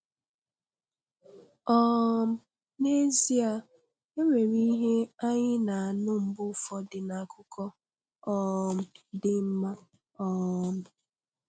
um N'ezie e nwere ihe anyị na-anụ mgbe ụfọdụ n'akụkọ um dị mmá. um